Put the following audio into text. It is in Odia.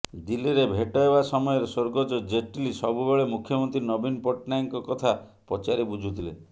ଦିଲ୍ଲୀରେ ଭେଟ ହେବା ସମୟରେ ସ୍ବର୍ଗତ ଜେଟଲୀ ସବୁବେଳେ ମୁଖ୍ୟମନ୍ତ୍ରୀ ନବୀନ ପଟ୍ଟନାୟକଙ୍କ କଥା ପଚାରି ବୁଝୁଥିଲେ